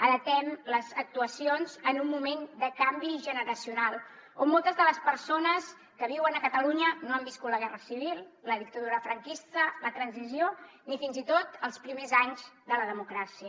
adaptem les actuacions en un moment de canvi generacional on moltes de les persones que viuen a catalunya no han viscut la guerra civil la dictadura franquista la transició ni fins i tot els primers anys de la democràcia